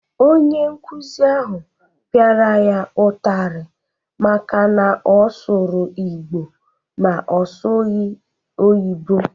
Onye nkuzi ahụ pịara ya ụtarị maka na ọ sụrụ Igbo ma ọ sụghị oyino/bekee